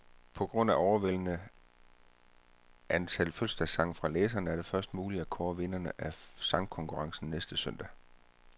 På grund af overvældende antal fødselsdagssange fra læserne, er det først muligt at kåre vinderne af sangkonkurrencen næste søndag.